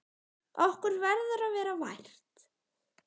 Okkur verður að vera vært!